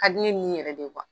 Ka di ne ni yɛrɛ de